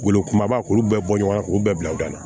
Wolo kumaba k'u bɛ bɔ ɲɔgɔn na k'u bɛɛ bila u da la